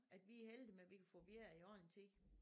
At vi er heldige med vi kan få vejr i ordentlig tid